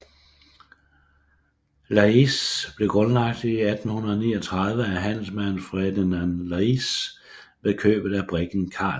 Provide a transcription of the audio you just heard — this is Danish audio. Laeisz blev grundlagt i 1839 af handelsmanden Ferdinand Laeisz med købet af briggen Carl